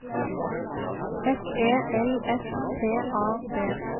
S E L S T A D